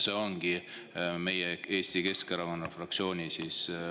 See ongi meie, Eesti Keskerakonna fraktsiooni arvamus.